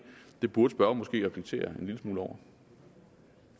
er tid til at vi må